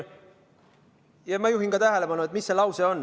Ma juhin ka tähelepanu, mis lause see on.